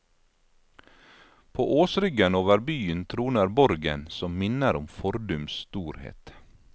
På åsryggen over byen troner borgen som minner om fordums storhet.